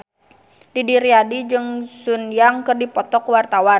Didi Riyadi jeung Sun Yang keur dipoto ku wartawan